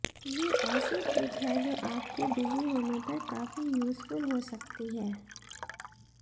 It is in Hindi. ये ऐसी ट्रिक है जो आपके बिजी होने पर काफी यूजफुल हो सकती है